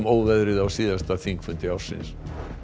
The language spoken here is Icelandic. óveðrið á síðasta þingfundi ársins